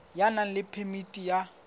ya nang le phemiti ya